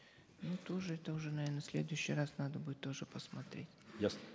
ну тоже это уже наверно в следующий раз надо будет тоже посмотреть ясно